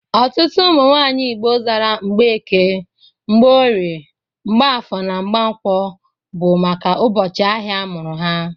Ọtụtụ ụmụ nwaanyị Igbo zara Mgbeke, Mgbeorie (Mgborie), Mgbafọ, na Mgankwọ bụ maka ụbọchị ahịa a mụrụ ha.